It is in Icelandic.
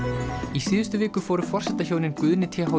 í síðustu viku fóru forsetahjónin Guðni t h